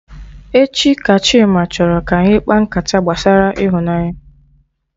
Echi ka Chima chọrọ ka anyị kpaa nkata gbasara ịhụnanya